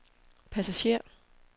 passager